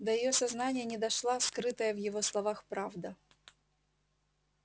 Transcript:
до её сознания не дошла скрытая в его словах правда